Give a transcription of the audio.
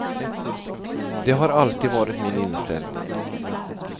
Det har alltid varit min inställning.